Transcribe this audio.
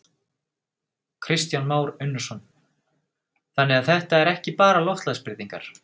Kristján Már Unnarsson: Þannig að þetta er ekki bara loftslagsbreytingar?